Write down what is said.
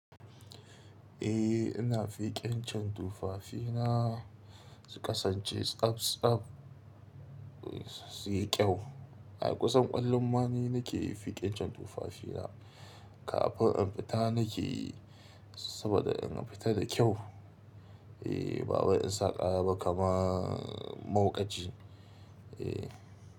Eh ina fikancen tufafina, su kasance tsab-tsab, su yi kyau. A kusan kullum ma ni nake fikancen tufafina kafin in fita nake, saboda in fita da kyau. Eh ba wai in sa ƙara ba kama mauƙaci. Eh.